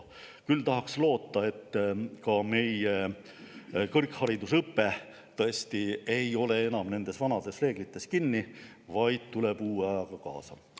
Küll tahaks loota, et ka meie kõrgharidusõpe ei ole tõesti enam vanades reeglites kinni, vaid tuleb ajaga kaasa.